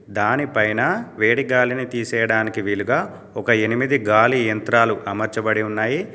దాని పైన వేడిగాలిని తీసేయడానికి వీలుగా ఒక ఎనిమిది గాలి యంత్రాలు అమర్చబడి ఉన్నాయి.